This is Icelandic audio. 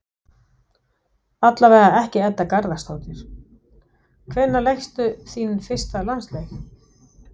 Allavega ekki Edda Garðarsdóttir Hvenær lékstu þinn fyrsta landsleik?